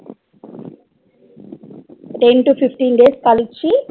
Ten to fifteen days கழிச்சு